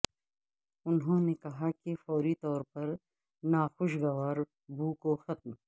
انہوں نے کہا کہ فوری طور پر ناخوشگوار بو کو ختم